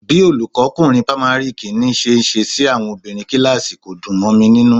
Bí olùkọ́kunrin pamari kìíní ṣe ń ṣe sí àwọn obìnrin kíláàsì kò dùn mọ mi nínú